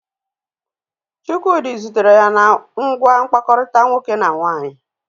Chukwudi zutere ya na ngwa mkpakọrịta nwoke na nwaanyị.